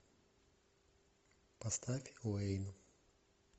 поставь уэйн